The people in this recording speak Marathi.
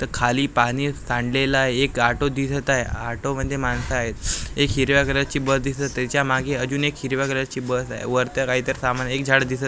इथं खाली पाणी सांडलेला एक आटो दिसत आहे ऑटो मध्ये माणसं आहेत एक हिरव्या कलरची बस दिसत आहे त्याच्यामागे अजून एक हिरव्या कलरची बस आहे वरता काहीतरी सामान आहे एक झाड दिसत --